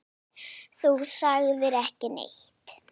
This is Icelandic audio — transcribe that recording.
Þú sagðir ekki neitt.